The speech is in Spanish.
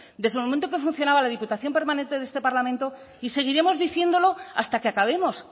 desde el momento que funcionaba la diputación permanente de este parlamento y seguiremos diciéndolo hasta que acabemos